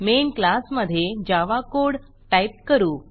main क्लासमधे Java code type करू